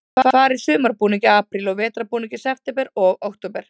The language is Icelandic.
Þeir fara í sumarbúning í apríl og vetrarbúning í september og október.